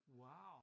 Wow!